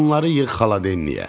Bunları yığ xaladelniyə.